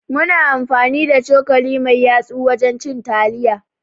Muna amfani da cokali mai yatsu wajan cin taliya